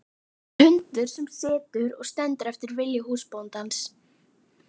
Ég er hundur sem situr og stendur eftir vilja húsbóndans.